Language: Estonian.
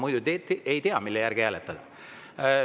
Muidu te ei tea, mille järgi hääletada.